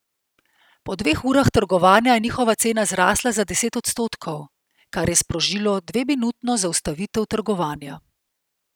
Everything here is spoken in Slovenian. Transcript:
Po dveh urah trgovanja je njihova cena zrasla za deset odstotkov, kar je sprožilo dveminutno zaustavitev trgovanja.